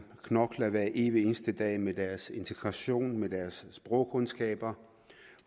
knokler hver evig eneste dag med deres integration med deres sprogkundskaber